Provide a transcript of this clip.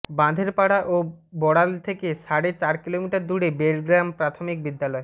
বাঁধেরপাড়া ও বড়াল থেকে সাড়ে চার কিলোমিটার দূরে বেড়গ্রাম প্রাথমিক বিদ্যালয়